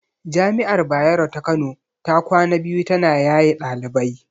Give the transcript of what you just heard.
Jami'ar Bayero ta Kano ta kwana biyu ta na yaye ɗalibai